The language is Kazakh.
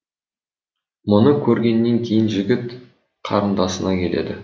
мұны көргеннен кейін жігіт қарындасына келеді